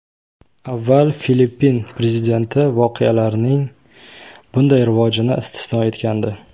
Avval Filippin prezidenti voqealarning bunday rivojini istisno etgandi.